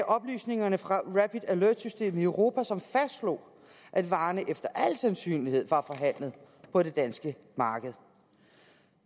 oplysningerne fra rapid alert systemet i europa som fastslog at varerne efter al sandsynlighed var forhandlet på det danske marked